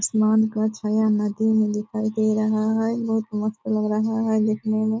आसमान का छाया नदी में दिखाई दे रहा है | बहुत मस्त लग रहा है देखने मे |